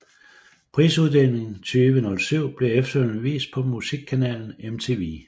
Prisuddelingen 2007 blev efterfølgende vist på musikkanalen MTV